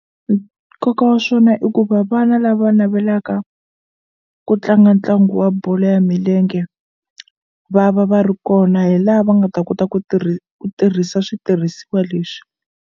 Nkoka wa swona i ku va vana lava navelaka ku tlanga ntlangu wa bolo ya milenge va va va ri kona hi la va nga ta kota ku ku tirhisa switirhisiwa leswi.